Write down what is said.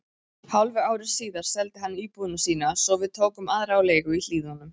Hálfu ári síðar seldi hann íbúðina sína svo við tókum aðra á leigu í Hlíðunum.